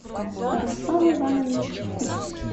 руслан иванович кутц